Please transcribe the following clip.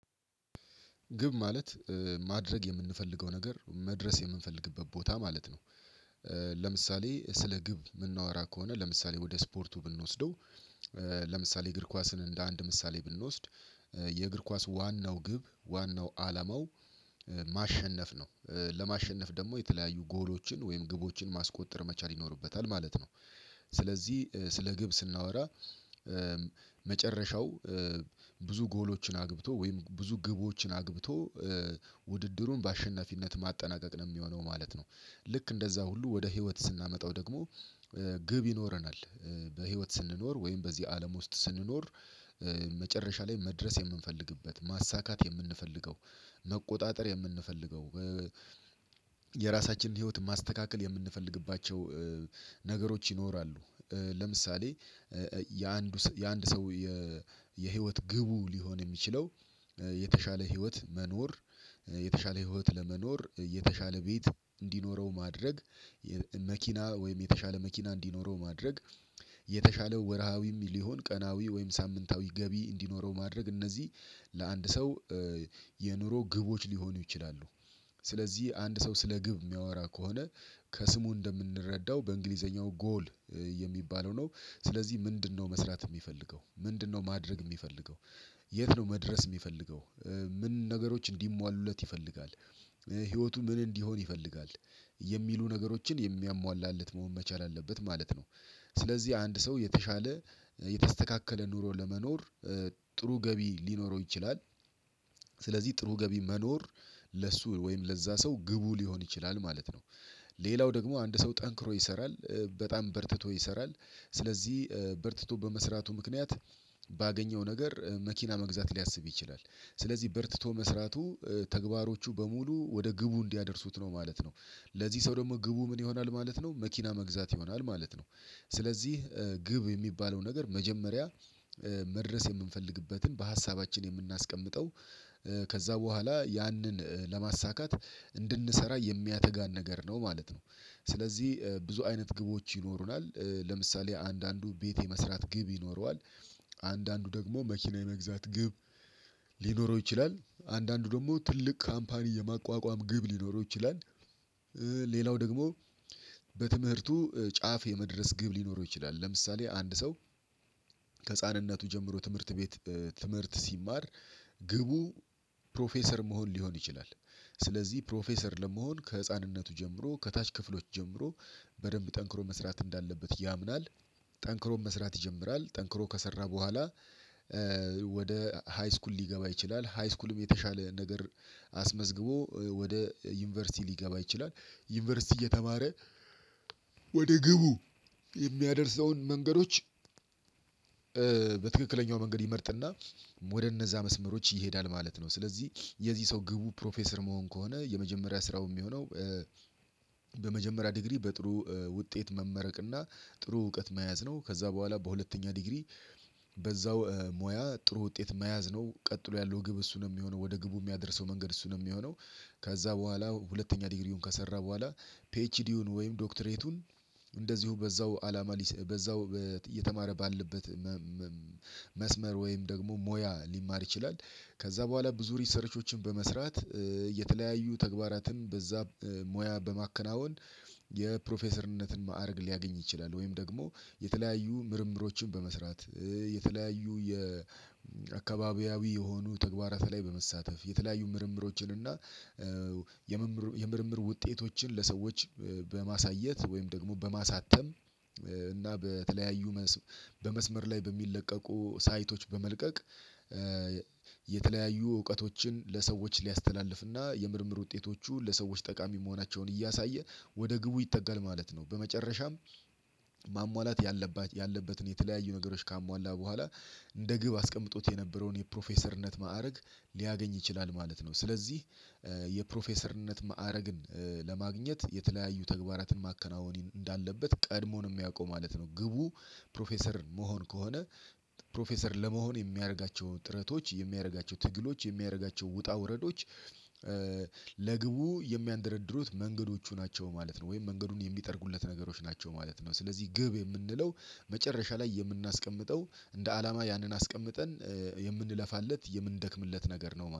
ግብ ማለት ማድረግ የምንፈልገው ነገር መድረስ የምንፈልግበት ቦታ ማለት ነው። ለምሳሌ ስለ ግብ ምናወራ ከሆነ ለምሳሌ ወደ ስፖርቱ ብንወስደው። ለምሳሌ እግር ኳስን እንደ አንድ ምሳሌ ብንወስድ የእግር ኳስ ዋናው ግብ ዋናው አላማው ማሸነፍ ነው ለማሸነፍ ደግሞ የተለያዩ ጎሎችን ወይም ግቦችን ማስቆጠር መቻል ይኖርበታል ማለት ነው። ስለዚህ ስለ ግብ ስናወራ መጨረሻው ብዙ ጎሎችን አግብቶ ወይም ብዙ ግቦችን አግብቶ ውድድሩን በአሸናፊነት ማጠናቀቅ ነው የሚሆነው ማለት ነው። ልክ እንደዛ ሁሉ ወደ ህይወት ስናመጣው ደግሞ ግብ ይኖረናል በህይወት ስንኖር ወይም በዚህ አለም ውስጥ ስንኖር መጨረሻ ላይ መድረስ የምንፈልግበት ማሳካት የምንፈልገው መቆጣጠር የምንፈልገው የራሳችን ህይወት ማስተካከል የምንፈልግባቸው ነገሮች ይኖራሉ። ለምሳሌ የአንዱ የአንድ ሰው የህይወት ግቡ ሊሆን የሚችለው የተሻለ ህይወት መኖር የተሻለ ህይወት ለመኖር የተሻለ ቤት እንዲኖረው ማድረግ መኪና ወይም የተሻለ መኪና እንዲኖረው ማድረግ የተሻለ ወርሃዊም ሊሆን ቀናዊ ወይም ሳምንታዊ ገቢ እንዲኖረው ማድረግ እነዚህ ለአንድ ሰው የኑሮ ግቦች ሊሆኑ ይችላሉ። ስለዚህ አንድ ሰው ስለ ግብ የሚያወራ ከሆነ ከስሙ እንደምንረዳው በእንግሊዘኛው ጎል የሚባለው ነው። ስለዚህ ምንድነው መስራት የሚፈልገው ምንድነው ማድረግ የሚፈልገው የት ነው መድረስ ሚፈልገው ምን ነገሮች እንዲሟሉለት ይፈልጋል ህይወቱ ምን እንዲሆን ይፈልጋል የሚሉ ነገሮችን የሚያሟላለት መሆን መቻል አለበት ማለት ነው። ስለዚህ አንድ ሰው የተሻለ የተስተካከለ ኑሮ ለመኖር ጥሩ ገቢ ሊኖረው ይችላል ስለዚህ ጥሩ ገቢ መኖር ለሱ ወይም ለዛ ሰው ግቡ ሊሆን ይችላል ማለት ነው። ሌላው ደግሞ አንድ ሰው ጠንክሮ ይሰራል በጣም በርትቶ ይሰራል ስለዚህ በርትቶ በመስራቱ ምክንያት ባገኘው ነገር መኪና መግዛት ሊያስብ ይችላል ስለዚህ በርትቶ መስራቱ ተግባሮቹ በሙሉ ወደ ግቡ እንዲያደርሱት ነው ማለት ነው። ለዚህ ሰው ደግሞ ግቡ ምን ይሆናል ማለት ነው መኪና መግዛት ይሆናል ማለት ነው። ስለዚህ ግብ የሚባለው ነገር መጀመሪያ መድረስ የምንፈልግበትን በሀሳባችን የምናስቀምጠው ከዛ በኋላ ያንን ለማሳካት እንድንሰራ የሚያተጋን ነገር ነው ማለት ነው። ስለዚህ ብዙ አይነት ግቦች ይኖሩናል ለምሳሌ አንዳንዱ ቤት የመስራት ግብ ይኖረዋል አንዳንዱ ደግሞ መኪና የመግዛት ግብ ሊኖረው ይችላል አንዳንዱ ደግሞ ትልቅ ካምፓኒ የማቋቋም ግብ ሊኖረው ይችላል። ሌላው ደግሞ በትምህርቱ ጫፍ የመድረስ ግብ ሊኖረው ይችላል ለምሳሌ አንድ ሰው ከህፃንነቱ ጀምሮ ትምህርት ቤት ትምህርት ሲማር ግቡ ፕሮፌሰር መሆን ሊሆን ይችላል ስለዚህ ፕሮፌሰር ለመሆን ከህፃንነቱ ጀምሮ ከታች ክፍሎች ጀምሮ በደንብ ጠንክሮ መስራት እንዳለበት ያምናል። ጠንክሮ መስራት ይጀምራል ጠንክሮ ከሰራ በኋላ ወደ ሃይስኩል ሊገባ ይችላል ሃይስኩልም የተሻለ ነገር አስመዝግቦ ወደ ዩኒቨርሲቲ ሊገባ ይችላል ዩኒቨርሲቲ እየተማረ ወደ ግቡ የሚያደርሰውን መንገዶች በትክክለኛው መንገድ ይመርጥና ወደ እነዛ መስመሮች ይሄዳል ማለት ነው። ስለዚህ የዚህ ሰው ግቡ ፕሮፌሰር መሆን ከሆነ የመጀመሪያ ስራው የሚሆነው በመጀመሪያ ዲግሪ በጥሩ ውጤት መመረቅ እና ጥሩ እውቀት መያዝ ነው ከዛ በኋላ በሁለተኛ ዲግሪ በዛው ሞያ ጥሩ ውጤት መያዝ ነው ቀጥሎ ያለው ግብ እሱ ነው የሚሆነው ወደ ግቡ የሚያደርሰው መንገድ እሱ ነው ሚሆነው። ከዛ በኋላ ሁለተኛ ዲግሪውን ከሰራ በኋላ ፒኤችዲውን ወይም ዶክተሬቱን እንደዚሁ በዛው አላማ በዛው እየተማረ ባለበት መስመር ወይም ደግሞ ሞያ ሊማር ይችላል። ከዛ በኋላ ብዙ ሪሰርቾችን በመስራት የተለያዩ ተግባራትን በዛ ሙያ በማከናወን የፕሮፌሰርነትን ማዕረግ ሊያገኝ ይችላል ወይም ደግሞ የተለያዩ ምርምሮችን በመስራት የተለያዩ የአካባቢያዊ የሆኑ ተግባራት ላይ በመሳተፍ የተለያዩ ምርምሮችን እና የምርምር ውጤቶችን ለሰዎች በማሳየት ወይም ደግሞ በማሳተም እና በተለያዩ በመስመር ላይ በሚለቀቁ ሳይቶች በመልቀቅ የተለያዩ እውቀቶችን ለሰዎች ሊያስተላልፍና የምርምር ውጤቶቹ ለሰዎች ጠቃሚ መሆናቸውን እያሳየ ወደ ግቡ ይጠጋል ማለት ነው። በመጨረሻም ማሟላት ያለበትን የተለያዩ ነገሮች ካሟላ በኋላ እንደ ግብ አስቀምጦት የነበረውን የፕሮፌሰርነት ማዕረግ ሊያገኝ ይችላል ማለት ነው። ስለዚህ የፕሮፌሰርነት ማዕረግን ለማግኘት የተለያዩ ተግባራትን ማከናወን እንዳለበት ቀድሞ ነው የሚያውቀው ማለት ነው። ግቡ ፕሮፌሰር መሆን ከሆነ ፕሮፌሰር ለመሆን የሚያደርጋቸው ጥረቶች የሚያደርጋቸው ትግሎች የሚያደርጋቸው ውጣ ውረዶች ለግቡ የሚያንደረድሩት መንገዶቹ ናቸው ማለት ነው ወይም መንገዱን የሚጠርጉለት ነገሮች ናቸው ማለት ነው። ስለዚህ ግብ የምንለው መጨረሻ ላይ የምናስቀምጠው እንደ አላማ ያንን አስቀምጠን የምንለፋለት የምንደክምለት ነገር ነው